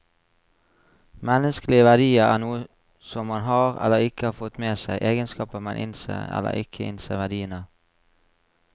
Menneskelige verdier er noe som man har, eller ikke har fått med seg, egenskaper man innser eller ikke innser verdien av.